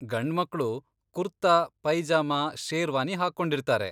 ಗಂಡ್ಮಕ್ಳು ಕುರ್ತಾ, ಪೈಜಾಮ, ಶೇರ್ವಾನಿ ಹಾಕೊಂಡಿರ್ತಾರೆ.